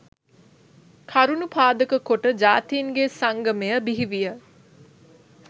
කරුණු පාදක කොට ජාතීන්ගේ සංගමය බිහිවිය